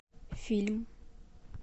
фильм